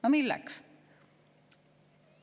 No milleks?